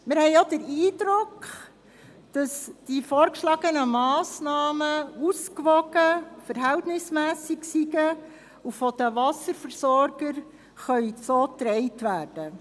Wir haben auch den Eindruck, die vorgeschlagenen Massnahmen seien ausgewogen und verhältnismässig und könnten von den Wasserversorgern mitgetragen werden.